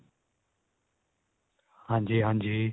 ਹਾਂਜੀ ਹਾਂਜੀ